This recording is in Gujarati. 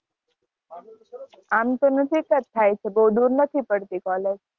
આમ તો નજીક જ થાય છે. બવ દૂર નથી પડતી કોલેજ.